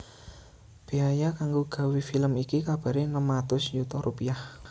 Béaya kanggo gawé film iki kabaré enem atus yuta rupiah